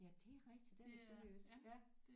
Ja det er rigtigt den er sønderjysk ja